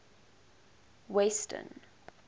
western